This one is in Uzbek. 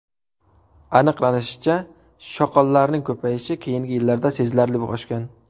Aniqlanishicha, shoqollarning ko‘payishi keyingi yillarda sezilarli oshgan.